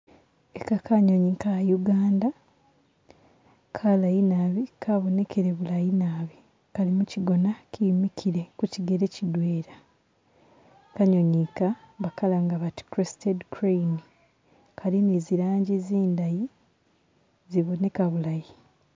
Ika kanyonyi ka'Uganda kalaayi naabi kabonekele bulayi naabi kali mu kigoona kemiikile ku kigeele kidweela, kanyonyi ika bakalanga bati crested crane , kali ne ziranji zindayi ziboneka bulaayi.